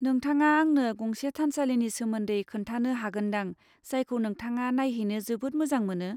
नोंथाङा आंनो गंसे थानसालिनि सोमोन्दै खोन्थानो हागोन दां जायखौ नोंथाङा नायहैनो जोबोद मोजां मोनो।